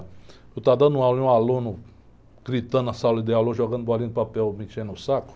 Eu estar dando aula e um aluno gritando na sala de aula, jogando bolinha de papel, me enchendo o saco.